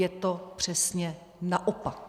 Je to přesně naopak.